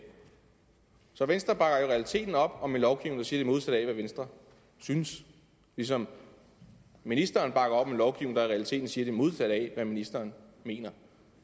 så venstre bakker i realiteten op om en lovgivning der siger det modsatte af hvad venstre synes ligesom ministeren bakker op om en lovgivning der i realiteten siger det modsatte af hvad ministeren mener